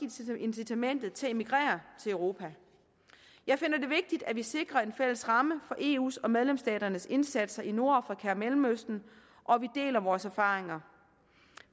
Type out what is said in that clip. incitamentet til at emigrere til europa jeg finder det vigtigt at vi sikrer en fælles ramme for eu’s og medlemsstaternes indsatser i nordafrika og mellemøsten og at vi deler vores erfaringer